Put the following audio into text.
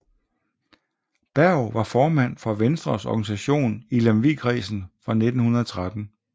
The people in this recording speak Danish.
Berg var formand for Venstres organisation i Lemvigkredsen fra 1913